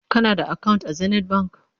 kana da akawunt a zenith bank?